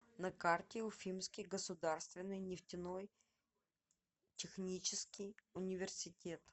на карте уфимский государственный нефтяной технический университет